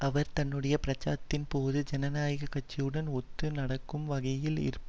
அவர் தன்னுடைய பிரச்சாரத்தின்போது ஜனாநாயகக் கட்சியுடன் ஒத்து நடக்கும் வகையில் இருந்தார்